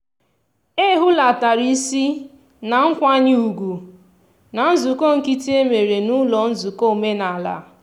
e hulatara isi na nkwanye ugwu na nzukọ nkịtị e mere n'ụlọ nzukọ omenaala.